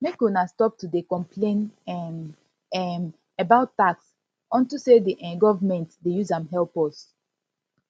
make una stop to dey complain um um about tax unto say the um government dey use am help us